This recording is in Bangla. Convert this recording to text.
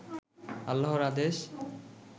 আল্লাহর আদেশ